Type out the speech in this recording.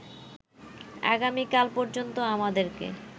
আগামীকাল পর্যন্ত আমাদেরকে